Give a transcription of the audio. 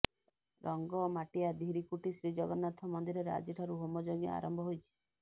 ରଙ୍ଗମାଟିଆ ଧିରିକୁଟି ଶ୍ରୀଜଗନ୍ନାଥ ମନ୍ଦିରରେ ଆଜିଠାରୁ ହୋମଯଜ୍ଞ ଆରମ୍ଭ ହୋଇଛି